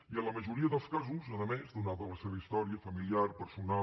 i en la majoria dels casos a més donada la seva història familiar personal